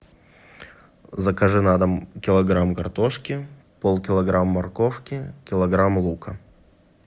закажи на дом килограмм картошки полкилограмма морковки килограмм лука